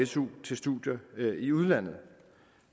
su til studier i udlandet